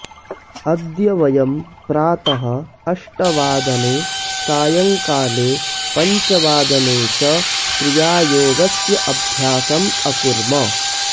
अद्य वयं प्रातः अष्टवादने सायंकाले पञ्चवादने च क्रियायोगस्य अभ्यासम् अकुर्म